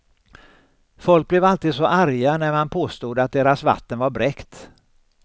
Folk blev alltid så arga när man påstod att deras vatten var bräckt.